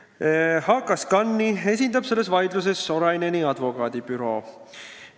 HKScani esindab selles vaidluses Soraineni advokaadibüroo.